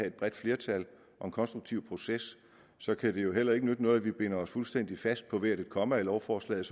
et bredt flertal og en konstruktiv proces så kan det jo heller ikke nytte noget at vi binder os fuldstændig fast på hvert et komma i lovforslaget